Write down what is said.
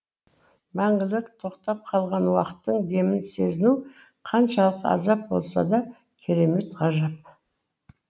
мәңгілік тоқтап қалған уақыттың демін сезіну қаншалық азап болса да керемет ғажап